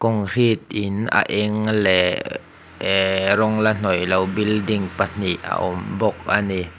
concrete in a eng leh ee rawng la hnawih loh building pahnih a awm bawk a ni.